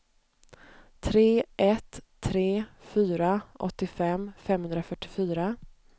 tre ett tre fyra åttiofem femhundrafyrtiofyra